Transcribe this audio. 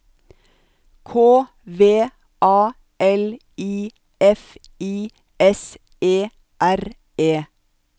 K V A L I F I S E R E